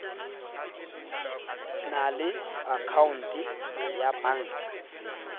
na le akhaonte ya banka